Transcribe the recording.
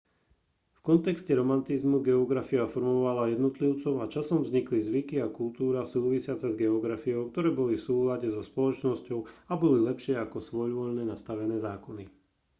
v kontexte romantizmu geografia formovala jednotlivcov a časom vznikli zvyky a kultúra súvisiace s geografiou ktoré boli v súlade so spoločnosťou a boli lepšie ako svojvoľne nastavené zákony